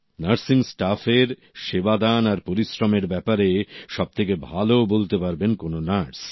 nursing staff এর সেবাদান আর পরিশ্রম এর ব্যাপারে সবথেকে ভালো বলতে পারবেন কোন নার্স